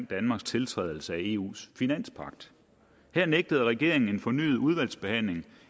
danmarks tiltrædelse af eus finanspagt her nægtede regeringen en fornyet udvalgsbehandling